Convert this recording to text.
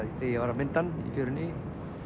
þegar ég var að mynda hann í fjörunni